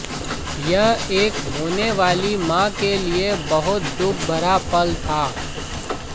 यह एक होने वाली मां के लिए बहुत दुखभरा पल था